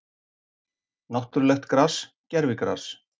Náttúrulegt gras, gervigras?